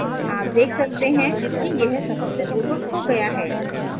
आप देख सकते हैं कि यह सफलतापूर्वक हो गया है